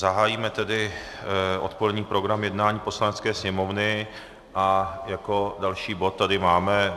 Zahájíme tedy odpolední program jednání Poslanecké sněmovny a jako další bod tady máme